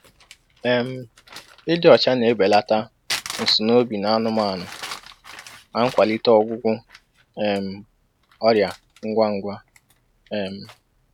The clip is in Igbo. um Ịdị ọcha na-ebelata nsunoobi n'anụmanụ na nkwalite ọgwụgwụ um ọrịa ngwa ngwa. um